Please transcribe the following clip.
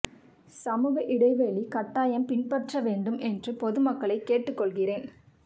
சமூக இடைவெளி கட்டாயம் பின்பற்ற வேண்டும் என்று பொதுமக்களை கேட்டு கொள்கிறேன்